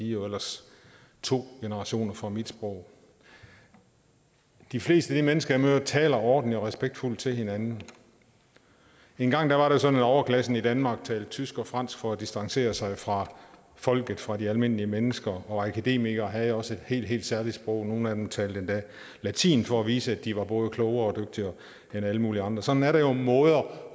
jo ellers to generationer fra mit sprog de fleste af de mennesker jeg møder taler ordentligt og respektfuldt til hinanden engang var det sådan at overklassen i danmark talte tysk og fransk for at distancere sig fra folket fra de almindelige mennesker og akademikere havde også et helt helt særligt sprog nogle af dem talte endda latin for at vise at de var både klogere og dygtigere end alle mulige andre sådan er der jo måder